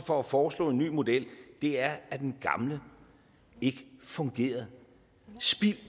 for at foreslå en ny model er at den gamle ikke fungerede spild